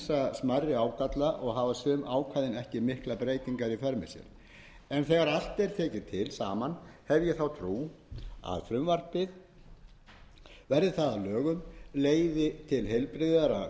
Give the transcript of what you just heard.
smærri ágalla og hafa sum ákvæðin ekki miklar breytingar í för með sér en þegar allt er tekið saman hef ég þá trú að frumvarpið verði það að lögum leiði til heilbrigðara